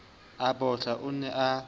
a bohla o ne a